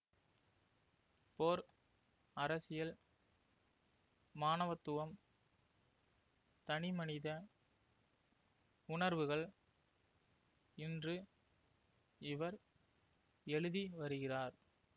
போர் அரசியல் மாணவத்துவம் தனிமனித உணர்வுகள் என்று இவர் எழுதிவருகிறார்